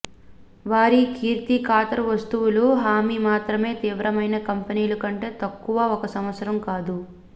వారి కీర్తి ఖాతరు వస్తువుల హామీ మాత్రమే తీవ్రమైన కంపెనీలు కంటే తక్కువ ఒక సంవత్సరం కాదు